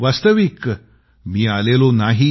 वास्तविक मी आलेलो नाही